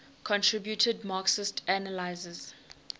contributed marxist analyses